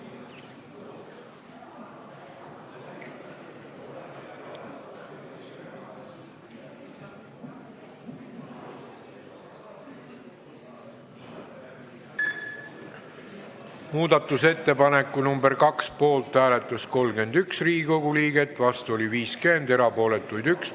Hääletustulemused Muudatusettepaneku nr 2 poolt hääletas 31 ja vastu oli 50 Riigikogu liiget, erapooletuid oli 1.